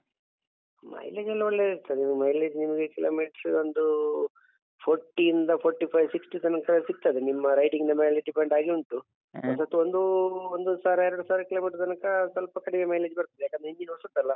Mileage ಎಲ್ಲ ಒಳ್ಳೇ ಇರ್ತದೆ mileage ನಿಮ್ಗೆ kilometer ಟ್ರು ಒಂದು forty ಇಂದ forty five sixty ತನಕ ಸಿಗ್ತದೆ ನಿಮ್ಮ riding ನ ಮೇಲೆ depend ಆಗಿ ಉಂಟು ಹೊಸತು ಒಂದು ಒಂದು ಸಾವಿರ ಎರಡು ಸಾವಿರ kilometer ತನಕ ಸ್ವಲ್ಪ ಕಡಿಮೆ mileage ಬರ್ತದೆ ಯಾಕಂದ್ರೆ engine ಹೊಸತ್ತಲ್ಲ?